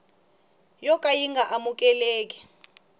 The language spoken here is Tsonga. yo ka yi nga amukeleki